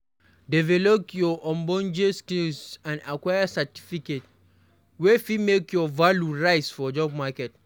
Develop ogbonge skills and acquire certificate wey fit make your value rise for job market